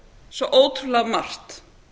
svo ótrúlega margt